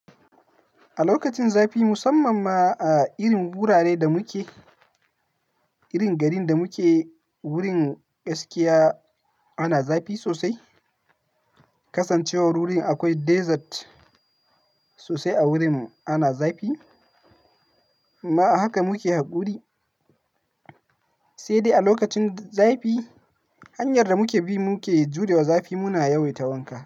A lokacin zafi musamman ma a irin wuraren da muke, irin garin da muke, wurin gaskiya ana zafi sosai. Kasancewar wurin akwai desert sosai a wurin mu ana zafi. Ma haka muke haƙuri, sai dai a lokacin zafi hanyar da muke bi muke jurewa zafi muna yawaita wanka.